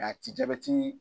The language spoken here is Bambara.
ti jabɛti